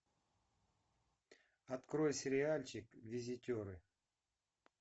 открой сериальчик визитеры